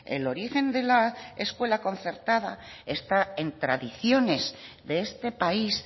el origen de la escuela concertada está en tradiciones de este país